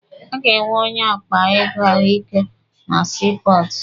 A ga-enwe onye akpa ego ahụike na sii pọọtụ.